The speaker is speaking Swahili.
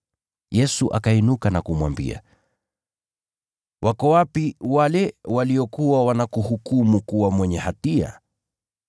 Yesu akainuka na kumwambia, “Wako wapi wale waliokuwa wanakuhukumu kuwa mwenye hatia?”